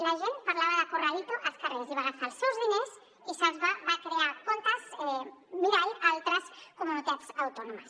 la gent parlava de corralito als carrers i va agafar els seus diners i va crear comptes mirall a altres comunitats autònomes